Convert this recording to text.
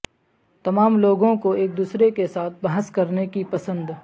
تمام لوگوں کو ایک دوسرے کے ساتھ بحث کرنے کی پسند